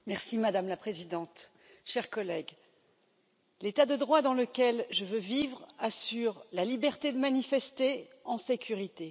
Madame la Présidente, chers collègues, l'État de droit dans lequel je veux vivre assure la liberté de manifester en sécurité.